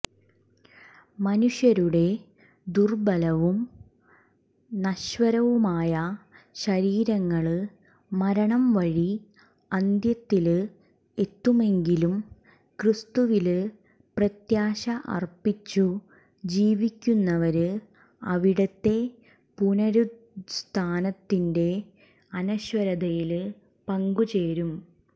മനുഷ്യരുടെ ദുര്ബലവും നശ്വരവുമായ ശരീരങ്ങള് മരണംവഴി അന്ത്യത്തില് എത്തുമെങ്കിലും ക്രിസ്തുവില് പ്രത്യാശ അര്പ്പിച്ചു ജീവിക്കുന്നവര് അവിടുത്തെ പുനരുത്ഥാനത്തിന്റെ അനശ്വരതയില് പങ്കുചേരും